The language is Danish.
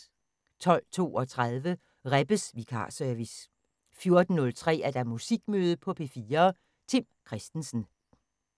12:32: Rebbes vikarservice 14:03: Musikmøde på P4: Tim Christensen